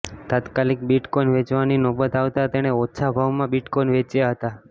તાત્કાલિક બિટકોઈન વેચવાની નોબત આવતા તેણે ઓછા ભાવમાં બિટકોઈન વેચ્યા હતા